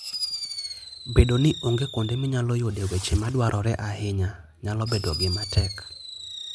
Bedo ni onge kuonde minyalo yudee weche madwarore ahinya, nyalo bedo gima tek.